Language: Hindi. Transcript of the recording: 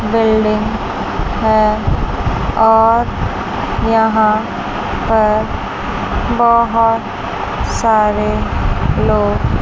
बिल्डिंग है और यहां पर बहोत सारे लोग--